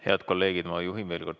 Head kolleegid!